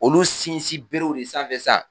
Olu sinsin berew de sanfɛ sa